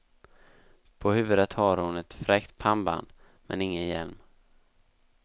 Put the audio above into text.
På huvudet har hon ett fräckt pannband, men ingen hjälm.